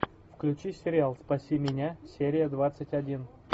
включи сериал спаси меня серия двадцать один